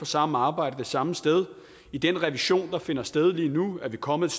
samme arbejde det samme sted i den revision der finder sted lige nu er vi kommet